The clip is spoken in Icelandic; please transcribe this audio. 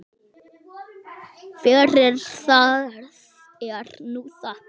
Fyrir það er nú þakkað.